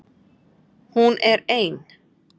Hún er ein.